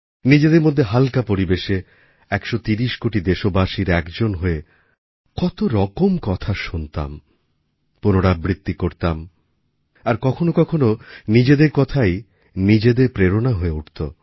নিজেদের মধ্যে হালকা পরিবেশে ১৩০ কোটি দেশবাসীর একজন হয়ে কতরকম কথা শুনতাম পুনরাবৃত্তি করতাম আর কখনও কখনও নিজেদের কথাই নিজেদের প্রেরণাস্রোত হয়ে উঠত